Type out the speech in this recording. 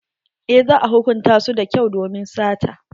Eh za a hukunta su da kyau domin sata.